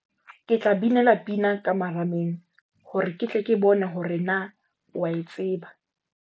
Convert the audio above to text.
Ke tla binela pina ka marameng hore ke tle ke bone hore na o a e tseba.